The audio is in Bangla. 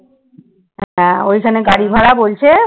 হ্যাঁ ওইখানে গাড়ী ভাড়া বলছে,